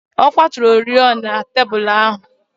Ọ kwaturu oriọna tebụl ahụ.